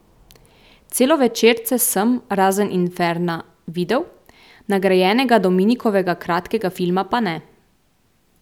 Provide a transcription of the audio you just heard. Celovečerce sem, razen Inferna, videl, nagrajenega Dominikovega kratkega filma pa ne.